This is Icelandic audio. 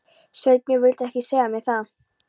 Sveinbjörn vildi ekki segja mér það.